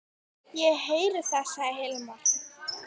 Ég heyri það, sagði Hilmar.